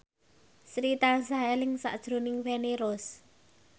Sri tansah eling sakjroning Feni Rose